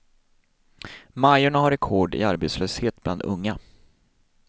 Majorna har rekord i arbetslöshet bland unga.